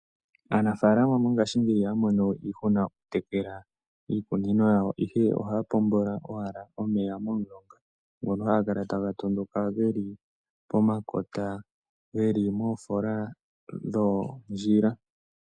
Aanafalama mongashingeyi ihaya mono iihuna yokutekela ikunino yawo ihe ohaya pombola owala omeya momulonga ngono haga kala taga tondoka geli pomakota geli moofola dhoondjila.